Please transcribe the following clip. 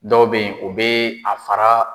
Dɔw bɛ ye o bɛ a fara